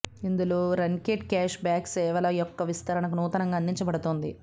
ఇందులో రన్కెట్ cash back సేవల యొక్క విస్తరణకు నూతనంగా అందించబడుతుంది